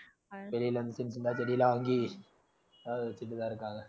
வெளியில இருந்து சின்ன சின்ன தான் செடியெல்லாம் வாங்கி அதெல்லாம் வெச்சுட்டு தான் இருக்காங்க